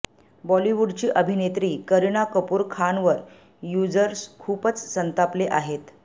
बॉलिवूडची अभिनेत्री करीना कपूर खानवर युझर्स खूपच संतापले आहेत